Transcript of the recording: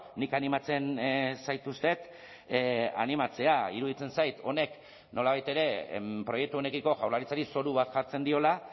nik animatzen zaituztet animatzea iruditzen zait honek nolabait ere proiektu honekiko jaurlaritzari zoru bat jartzen diola